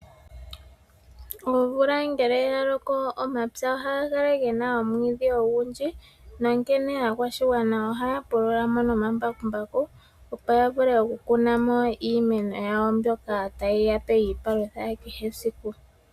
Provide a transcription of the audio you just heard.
Omvula ngele yaloko omapya ohaga kala gena omwiidhi ogundji , onkene aakwashigwana ohaya pulula omapya gawo omambakumbaku, opo ya vule okukuna mo iimeno yawo mbyoka tayi yape iipalutha iipalutha kehe esiku.